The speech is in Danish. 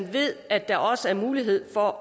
ved at der også er mulighed for